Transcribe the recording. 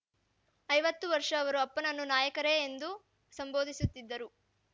ಐವತ್ತು ವರ್ಷ ಅವರು ಅಪ್ಪನನ್ನು ನಾಯಕರೇ ಎಂದು ಸಂಬೋಧಿಸುತ್ತಿದ್ದರು